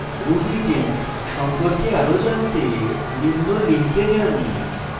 rubygems সম্পর্কে আরো জানতে নিম্ন link যান